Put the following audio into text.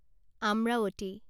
Amravati